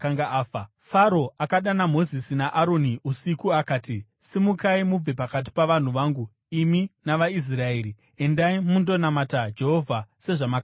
Faro akadana Mozisi naAroni usiku akati, “Simukai, mubve pakati pavanhu vangu, imi navaIsraeri! Endai, mundonamata Jehovha sezvamakakumbira.